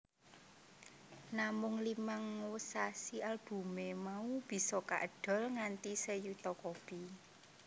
Namung limang wsasi albumé mau bisa kaedol nganti seyuta kopi